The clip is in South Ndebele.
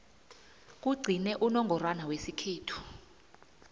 kugcine unongorwana wesikhethu